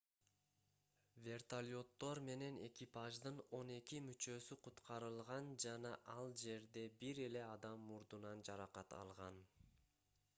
вертолеттор менен экипаждын он эки мүчөсү куткарылган жана ал жерде бир эле адам мурдунан жаракат алган